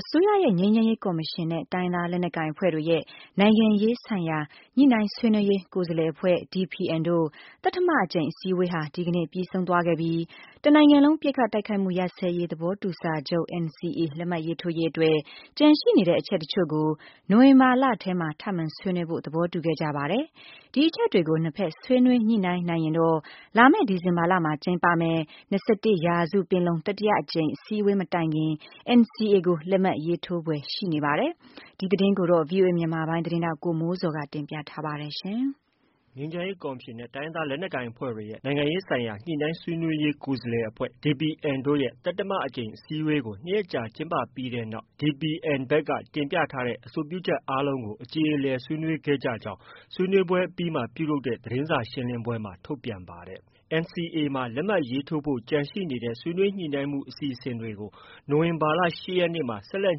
အစိုးရရဲ့ ငြိမ်းချမ်းရေးကော်မရှင်နဲ့ တိုင်းရင်းသားလက်နက်ကိုင်အဖွဲ့တွေရဲ့ နိုင်ငံရေးဆိုင်ရာ ညှိနှိုင်းဆွေးနွေးရေး ကိုယ်စားလှယ်အဖွဲ့ DPN တို့ သတ္တမအကြိမ်အစည်းအဝေးဟာ ဒီကနေ့ ပြီးဆုံးသွားခဲ့ပြီး တနိုင်ငံလုံး ပစ်ခတ် တိုက်ခိုက်မှု ရပ်စဲရေးသဘောတူစာချုပ် NCA လက်မှတ်ရေးထိုးရေးအတွက် ကျန်ရှိနေတဲ့ အချက် တချု့ိကို နိုဝင်ဘာလထဲမှာ ထပ်မံဆွေးနွေးဖို့ သဘောတူခဲ့ကြပါတယ်။ ဒီအချက်တွေနှစ်ဖက် ဆွေးနွေးညှိနှိုင်း နိုင်ရင် တော့ လာမယ့် ဒီဇင်ဘာလမှာ ကျင်းပမယ့် ၂၁ရာစုပင်လုံ တတိယအကြိမ်အစည်းအဝေးမတိုင်ခင် NCA ကို လက်မှတ်ရေးထိုးဖွယ်ရှိနေပါတယ်။ ဒီသတင်းကိုတော့ ဗွီအိုအေမြန်မာပိုင်းရဲ့သတင်းထောက် ကိုမိုးဇော်က တင်ပြထားပါတယ်။ ငြိမ်းချမ်းရေးကော်မရှင်နဲ့ တိုင်းရင်းသားလက်နက်ကိုင်အဖွဲ့တွေရဲ့ နိုင်ငံရေးဆိုင်ရာ ညှိနှိုင်းဆွေးနွေးရေး ကိုယ်စားလှယ်အဖွဲ့ DPN တို့ သတ္တမအကြိမ်အစည်းအဝေးကို ၂ရက်ကြာကျင်းပပြီးတဲ့နောက် DPN ဖက်က တင်ပြထားတဲ့ အဆိုပြုချက်အားလုံးကို အကြေအလည် ဆွေးနွေးခဲ့ကြကြောင်း ဆွေးနွေးပွဲအပြီးမှာ ပြုလုပ်တဲ့ သတင်းစာရှင်းလင်းပွဲမှာ ထုတ်ပြန်ပါတယ်။ NCA မှာ လက်မှတ်ရေးထိုးနိုင်ဖို့ ကျန်ရှိနေတဲ့ ဆွေးနွေးညှိနှိုင်းမှုအစီအစဉ်တွေကို နိုဝင်ဘာလ ၈ရက်နေ့မှ ဆက်လက်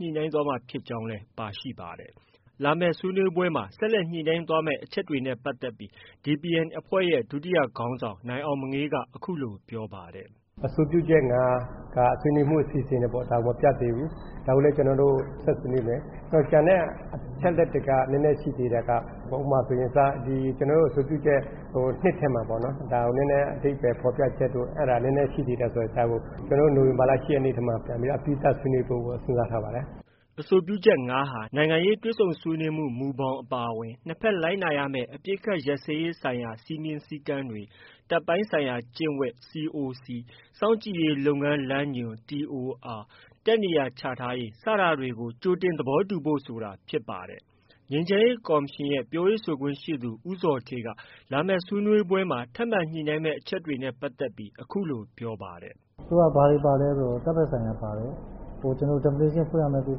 ညှိနှိုင်းသွားမယ်လို့လည်း ပါရှိပါတယ်။ ဆက်လက်ဆွေးနွေးမယ့် အချက်တွေနဲ့ ပတ်သက်ပြီး DPN အဖွဲ့ရဲ့ ဒုခေါင်းဆောင် နိုင်အောင်မငေးက အခုလို ပြောပါတယ်။ “ အဆိုပြုချက် ၅က ဆွေးနွေးမှုအစီအစဉ်တွေပေါ့။ ဒါမပြတ်သေးဘူး။ ဒါကိုလည်း ဆက်ဆွေးနွေးမယ်။ ကျန်တဲ့အချက်အလက်တွေက နည်းနည်းရှိသေးတာက ဥပမာဆိုရင် ကျနော်တို့ အဆိုပြုချက် ၂ထဲမှာဆိုရင် ဒါကို အဓိပါ္ပယ်ဖော်ပြချက်တို့ အဲဒါနည်းနည်းရှိသေးတယ်ဆိုတော့ ဒါကို နိုဝင်ဘာလ ၈ရက်နေ့မှာ အပြီးသတ်ဆွေးနွေးဖို့ စဉ်းစားထားပါတယ်။ ” အဆိုပြုချက်၅က နိုင်ငံရေးတွေ့ဆုံဆွေးနွေးမှုမူဘောင်အပါအဝင် နှစ်ဖက်လိုက်နာရမယ့် အပစ်အခတ်ရပ်စဲရေးဆိုင်ရာ စည်းမျဉ်းစည်းကမ်းတွေ၊ တပ်ပိုင်းဆိုင်ရာကျင့်ဝတ် ၊ စောင့်ကြည့်ရေးလုပ်ငန်းလမ်းညွှန် ၊ တပ်နေရာချထားရေးစတာတွေကို ကြိုတင် သဘောတူညီဖို့ဆိုတာဖြစ်ပါတယ်။ ငြိမ်းချမ်းရေးကော်မရှင်ရဲ့ ပြောရေးဆိုခွင့်ရှိသူ ဦးဇော်ဌေးက လာမယ့်ဆွေးနွေးပွဲမှာ ထပ်မံညှိနှိုင်းမယ့် အချက်တွေနဲ့ပတ်သက်ပြီး အခုလို ပြောပါတယ်။ “ အဲဒီမှာ ဘာတွေပါလဲဆိုတော့ တပ်ဖက်ဆိုင်ရာပါတယ်။ ကျနော်တို့ definition ဖွင့်ရမယ့် ကိစ္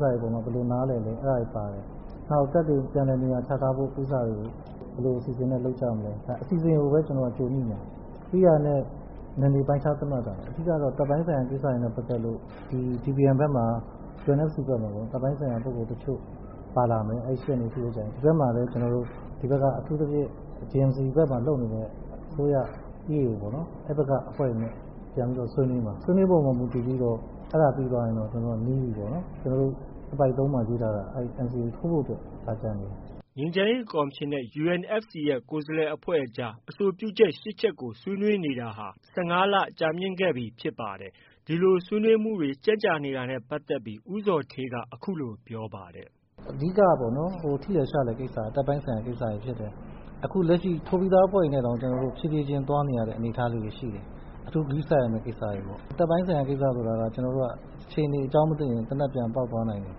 စတွေမှာ ဘယ်လို နားလည်လဲ ဆိုတာပါတယ်။ နောက်တပ်တွေပြန်လည်နေရာချထားတဲ့ကိစ္စတွေကို ဘယ်လိုအစီအစဉ်နဲ့ လုပ်ကြမလဲ။ အစီအစဉ်ကိုပဲ ကျနော်တို့က ကြိုညှိမှာ။ ပြီးတာနဲ့ နယ်မြေပိုင်းခြားသတ်မှတ်တာ။ အဓိကကတော့ တပ်ပိုင်းဆိုင်ရာကိစ္စတွေနဲ့ပတ်သက်လို့ DPNဖက်မှာ UNFC ဖက်မှာ တပ်ပိုင်းဆိုင်ရာပုဂ္ဂိုလ်တချို့ ပါလာမယ်။ ဒီဖက်မှာလည်း ကျနော်တို့ အထူးသဖြင့် JMC ဖက်မှာလုပ်နေတဲ့ အစိုရ၊ EAO အဲဒီဖက်က အဖွဲ့တွေနဲ့ ပြန်ပြီးဆွေးနွေးမှာ။ ဆွေးနွေးပွဲပေါ်မူတည်ပြီးတော့ အဲဒါပြီးသွားရင်တော့ နီးသွားပြီပေါ့နော်။ အပိုဒ်၃မှာရေးထားတာက NCA ထိုးဖို့ အတွက် ဒါကျန်နေတာ။” ငြိမ်းချမ်းရေးကော်မရှင်နဲ့ UNFC ရဲ့ ကိုယ်စားလှယ်အဖွဲ့အကြား အဆိုပြုချက် ၈ချက်ကို ဆွေးနွေးနေတာဟာ ၁၅လကြာမြင့်ခဲ့ပြီးဖြစ်ပါတယ်။ ဒီလို ဆွေးနွေးမှုတွေ ကြန့်ကြာနေတာနဲ့ပတ်သက်ပြီး ဦးဇော်ဌေးက အခုလို ပြောပါတယ်။ “ အဓိကကပေါ့နော် ထိလွယ်ရှလွယ်ကိစ္စတွေက တပ်ပိုင်းဆိုင်ရာကိစ္စတွေဖြစ်တယ်။ အခုလက်ရှိ ထိုးပြီးသားအဖွဲ့တွေနဲ့တောင် ဖြည်းဖြည်းခြင်းသွားနေရတဲ့အနေအထားလေးတွေရှိတယ်။ အထူးဂရုစိုက်ရမယ်အနေအထားတွေရှိတယ်။ တပ်ပိုင်းဆိုင်ရာကိစ္စဆိုတာက အခြေအနေအကြောင်းမသင့်ရင် သေနတ်ပြန်ပေါက်သွားနိုင်တယ်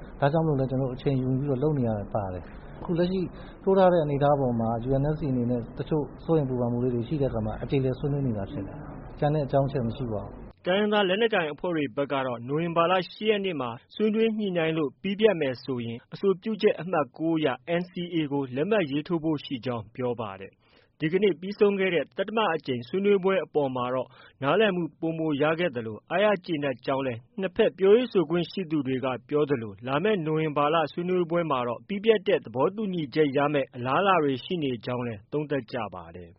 ။ ဒါကြောင့်မို့လို့လည်း ကျနော်တို့ အချိန်ယူပြီးလုပ်နေရတာပါတယ်။ အခုလက်ရှိ ထိုးထားတဲ့အနေအထားပေါ်မှာ UNFC အနေနဲ့လည်း တချို့ စိုးရိမ်ပူုပန်မှုလေးတွေ ရှိတဲ့အခါ အကြေအလည်ဆွေးနွေးနေတာဖြစ်တယ်။ ကျန်တဲ့ အကြောင်းအချက် မရှိပါဘူး။” တိုင်းရင်းသားလက်နက်ကိုင်အဖွဲ့တွေဖက်ကတော့ နိုဝင်ဘာ၈ရက်နေ့မှာ ဆွေးနွေးညှိနှိုင်းလို့ ပြီးပြတ်မယ်ဆိုရင် အဆိုပြုချက် အမှတ်၉အရ NCA ကိုလက်မှတ်ရေးထိုးဖို့ ရှိကြောင်း ပြောပါတယ်။ သတ္တမအကြိမ်မြောက်ဆွေးနွေးပွဲအပေါ်မှာတော့ နားလည်မှုပိုမိုရခဲ့သလို အားရကျေနပ်ကြောင်းလည်း နှစ်ဖက် ပြောခွင့်ရသူတွေက ပြောသလို လာမယ့် နိုဝင်ဘာဆွေးနွေးပွဲမှာတော့ ပြီးပြတ်တဲ့ သဘောတူညီချက်ရမယ့် အလားအလာတွေရှိနေကြောင်းလည်း သုံးသပ်ကြပါတယ်။